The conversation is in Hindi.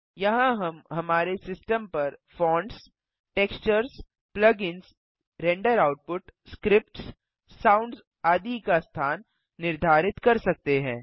यहाँ हम हमारे सिस्टम पर fonts textures plugins render output scripts sounds आदि का स्थान निर्धारित कर सकते हैं